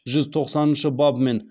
жүз тоқсаныншы бабымен